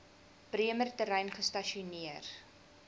bremer terrein gestasioneer